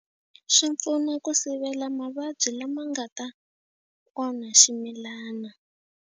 Swi pfuna ku sivela mavabyi lama nga ta onha ximilana.